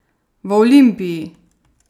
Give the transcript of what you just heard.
V Olimpiji!